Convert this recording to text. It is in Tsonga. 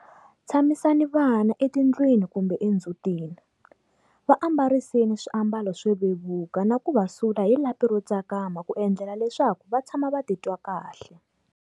Tshamisani vana etindlwini kumbe endzhutini, va ambariseni swiambalo swo vevuka na ku va sula hi lapi ro tsakama ku endlela leswaku va tshama va ti twa kahle.